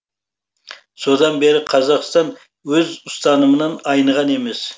содан бері қазақстан өз ұстанымынан айныған емес